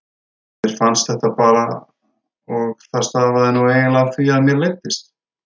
Mér fannst þetta bara og það stafaði nú hreinlega af því að mér leiddist.